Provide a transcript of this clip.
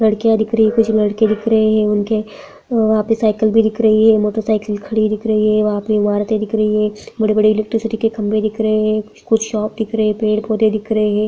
लड़कियाँ दिख रही हैं और कुछ लड़के भी दिख रहे हैं उनके वहाँ पे साइकिल भी दिख रही है मोटर साइकिल खड़ी दिख रही है वहाँ पे इमारतें दिख रही हैं बड़े-बड़े इलेक्ट्रिसिटी के खंभे दिख रहे हैं कुछ शॉप दिख रहे हैं पेड़-पौधे दिख रहे हैं।